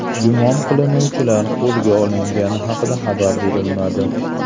Gumon qilinuvchilar qo‘lga olingani haqida xabar berilmadi.